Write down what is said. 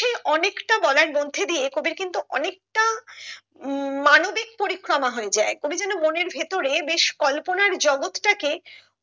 সেই অনেকটা বলার মধ্যে দিয়ে কবির কিন্তু অনেকটা উম মানবিক পরিক্রমা হয়ে যায় কবি যেন মনের ভেতরে বেশ কল্পনার জগৎ টা কে